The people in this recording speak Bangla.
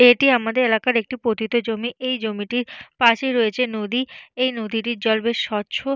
এটি আমাদের এলাকার একটি পতিত জমি। এই জমিটির পাশেই রয়েছে নদী। এই নদীটির জল বেশ স্বচ্ছ।